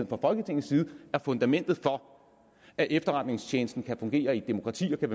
fra folketingets side er fundamentet for at efterretningstjenesten kan fungere i et demokrati og kan